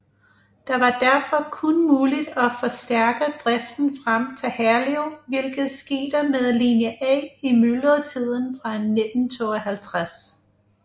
Det var derfor kun muligt at forstærke driften frem til Herlev hvilket skete med linje A i myldretiden fra 1952